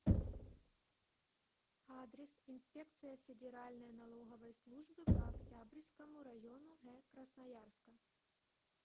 адрес инспекция федеральной налоговой службы по октябрьскому району г красноярска